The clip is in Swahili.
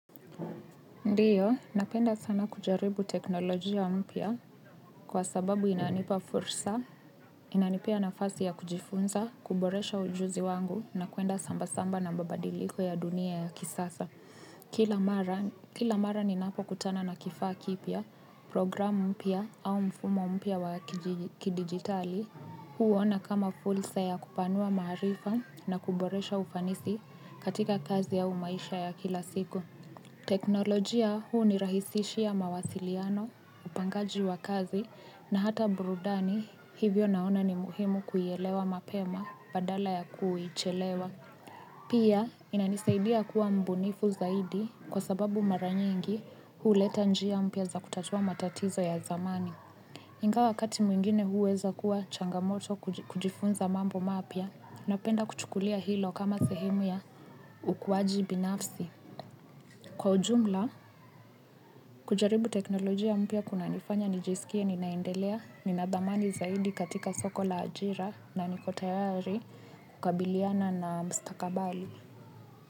Ndiyo, napenda sana kujaribu teknolojia mpya kwa sababu inanipa fursa, inanipea nafasi ya kujifunza, kuboresha ujuzi wangu na kuenda sambasamba na mababadiliko ya dunia ya kisasa. Kila mara ninapokutana na kifaa kipya, program mpya au mfumo mpya wa kidigitali huona kama fursa ya kupanua maharifa na kuboresha ufanisi katika kazi au maisha ya kila siku. Teknolojia hunirahisisha mawasiliano, upangaji wa kazi na hata burudani hivyo naona ni muhimu kuelewa mapema badala ya kuuchelewa. Pia inanisaidia kuwa mbunifu zaidi kwa sababu mara nyingi huleta njia mpya za kutatuua matatizo ya zamani. Ingawa wakati mwingine huweza kuwa changamoto kujifunza mambo mapya napenda kuchukulia hilo kama sehimu ya ukuwaji binafsi. Kwa ujumla, kujaribu teknolojia mpya kunanifanya nijiskie, ninaendelea, nina dhamani zaidi katika soko la ajira na niko tayari kukabiliana na mstakabali.